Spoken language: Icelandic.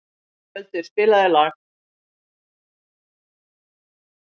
Skjöldur, spilaðu lag.